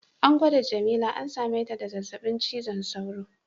An gwada jamila an same ta da zazzabin cizon sauro.